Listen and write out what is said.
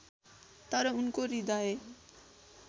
तर उनको हृदय